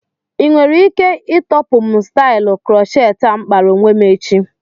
Inwere ike ịtọpụ m stailu crocheti a m kpara onwe m echi?